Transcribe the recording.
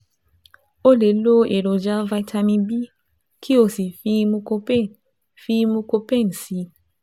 O lè lo èròjà vitamin B kí o sì fi Mucopain fi Mucopain sí i